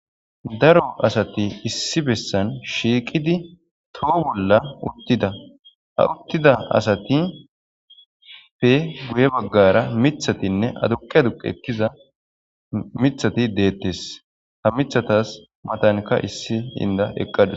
daro asati issi bessan shiiqidi toho bolla uttida ha uttida asatipe guye baggara mithatinne aduqi aduqi ekkiza mithati deettes ha mithatas matanka issi inda eqqadus